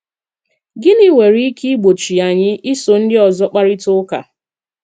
Gịnị nwere ike ìgbòchị́ anyị ísò ndị ọzọ́ kparịta ụka?